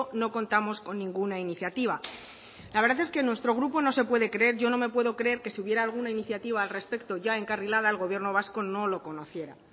no contamos con ninguna iniciativa la verdad es que nuestro grupo no se puede creer yo no me puedo creer que si hubiera alguna iniciativa al respecto ya encarrilada el gobierno vasco no lo conociera